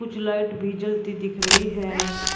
कुछ लाइट भी जलती दिख रही है।